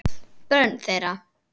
Börn þeirra.